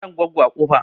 Faɗan Goggo a Kofa.